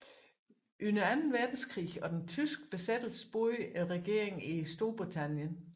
Under Anden Verdenskrig og den tyske besættelse boede regeringen i Storbritannien